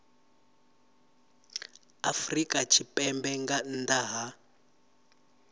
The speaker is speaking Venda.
afrika tshipembe nga nnḓa ha